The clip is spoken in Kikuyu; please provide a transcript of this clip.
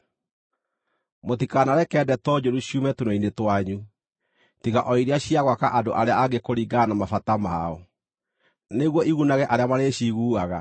Mũtikanareke ndeto njũru ciume tũnua-inĩ twanyu, tiga o iria cia gwaka andũ arĩa angĩ kũringana na mabata mao, nĩguo igunage arĩa marĩciiguaga.